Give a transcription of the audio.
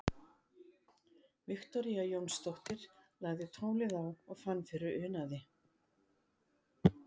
Viktoría Jónsdóttir lagði tólið á og fann fyrir unaði.